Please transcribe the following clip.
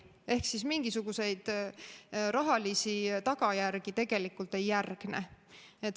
Ehk siis mingisuguseid rahalisi tagajärgi tegelikult ei järgne.